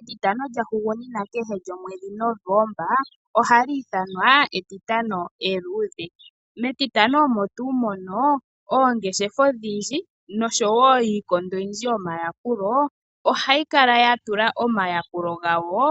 Etitano lya hugunina kehe lyomwedhi Novemba oha li ithanwa etitano eluudhe, metitano omo tuu mono oongeshefa odhindji noshowo iikondo oyindji yomayakulo ohayi kala yatula omayakulo gawo